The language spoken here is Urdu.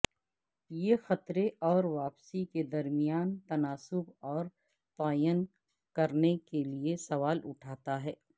یہ خطرے اور واپسی کے درمیان تناسب کا تعین کرنے کے لئے سوال اٹھاتا ہے